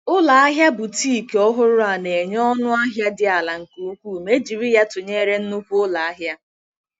Ụlọ ahịa boutique ọhụrụ a na-enye ọnụ ahịa dị ala nke ukwuu ma e jiri ya tụnyere nnukwu ụlọ ahịa.